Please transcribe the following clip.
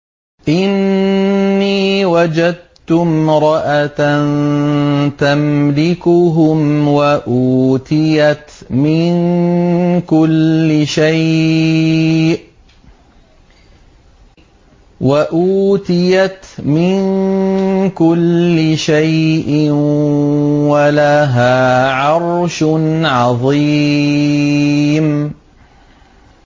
إِنِّي وَجَدتُّ امْرَأَةً تَمْلِكُهُمْ وَأُوتِيَتْ مِن كُلِّ شَيْءٍ وَلَهَا عَرْشٌ عَظِيمٌ